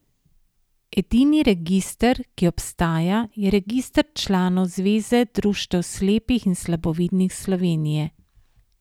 Edini register, ki obstaja, je register članov Zveze društev slepih in slabovidnih Slovenije.